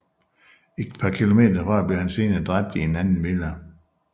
Et par km derfra blev han senere dræbt i en anden villa